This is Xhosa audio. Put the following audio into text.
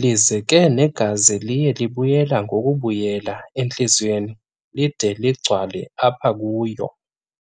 lize ke negazi liye libuyela ngokubuyela entliziyweni lide ligcwale apha kuyo.